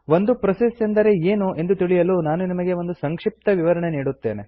ಒಂದು ಪ್ರೋಸೆಸ್ ಎಂದರೆ ಏನು ಎಂದು ತಿಳಿಯಲು ನಾನು ನಿಮಗೆ ಒಂದು ಸಂಕ್ಷಿಪ್ತ ವಿವರಣೆ ನೀಡುತ್ತೇನೆ